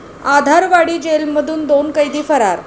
आधारवाडी जेलमधून दोन कैदी फरार